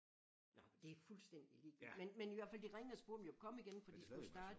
Nå det er fuldstændig ligegyldigt men men i hvert fald de ringede og spurgte om jeg kunne komme igen for de skulle starte